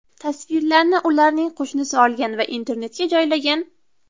Tasvirlarni ularning qo‘shnisi olgan va internetga joylagan.